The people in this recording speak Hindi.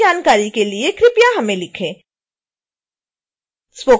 अधिक जानकारी के लिए कृपया हमें लिखें